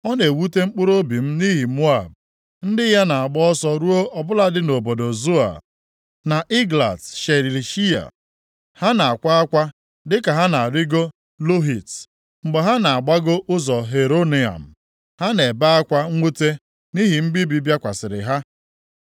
Ọ na-ewute mkpụrụobi m nʼihi Moab, + 15:5 \+xt Aịz 16:11; Jer 48:31\+xt* ndị ya na-agba ọsọ ruo ọ bụladị nʼobodo Zoa na Eglat Shelishiya. Ha na-akwa akwa dịka ha na-arịgo Luhit. + 15:5 \+xt Jer 48:5\+xt* Mgbe ha na-agbago ụzọ Heronaim, ha na-ebe akwa mwute nʼihi mbibi bịakwasịrị ha.